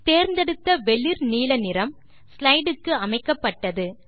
தேர்ந்தெடுத்த வெளிர் நீல நிறம் ஸ்லைடு க்கு அமைக்கப்பட்டது